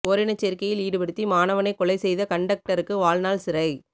ஓரினச் சேர்க்கையில் ஈடுபடுத்தி மாணவனை கொலை செய்த கண்டக்டருக்கு வாழ்நாள் சிறை